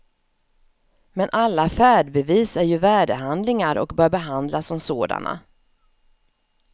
Men alla färdbevis är ju värdehandlingar, och bör behandlas som sådana.